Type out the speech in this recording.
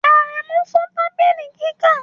Aremu fọ tabili kika